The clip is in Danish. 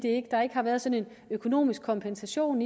ikke har ikke har været sådan en økonomisk kompensation